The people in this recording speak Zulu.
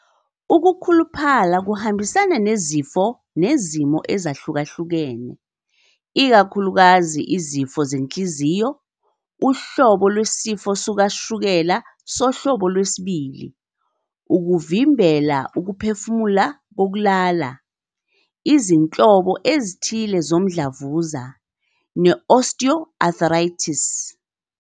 Ukukhuluphala kuhambisana nezifo nezimo ezahlukahlukene, ikakhulukazi izifo zenhliziyo, uhlobo lwesifo sikashukela sohlobo 2, ukuvimbela ukuphefumula kokulala, izinhlobo ezithile zomdlavuza, ne-osteoarthritis.